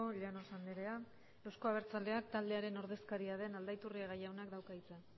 llanos andrea euzko abertzaleak taldearen ordezkaria den aldaiturriaga jaunak dauka hitza